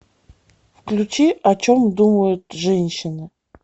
включи о чем думают женщины